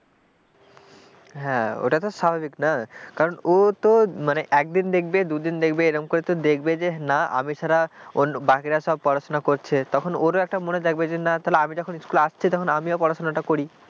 হ্যাঁ ওটা তো স্বাভাবিক না কারণ ও তো মানে একদিন দেখবে দুদিন দেখবে এরকম করে তো দেখবে যে না আমি ছাড়া বাকিরা সব পড়াশোনা করছে তখন ওর একটা মনে থাকবে না তাহলে আমি যখন স্কুলে আসছি তখন আমিও পড়াশুনাটা করি,